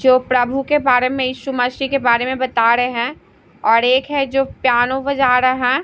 जो प्रभु के बारे में यीशु मसीह के बारे में बता रहे हैं और एक है जो प्यानो बजा रहा है।